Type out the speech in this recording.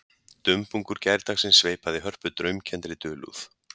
Dumbungur gærdagsins sveipaði Hörpu draumkenndri dulúð